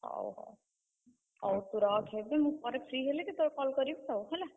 ହଉ ହଉ, ହଉ ତୁ ରଖ ଏବେ। ମୁଁ ପରେ free ହେଲେ କେତବେଳେ call କରିବି ଆଉ ହେଲା।